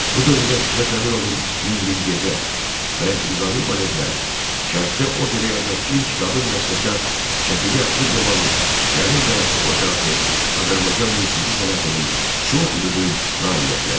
Bu dövrdə Fikrət Əmirovun "Min bir gecə" və Nizami baletləri, Şərqdə opera yazan ilk qadın bəstəkar Şəfiqə Axundovanın "Gəlin qayası" operası Azərbaycan musiqi sənətinin çox mühüm nailiyyətləri idi.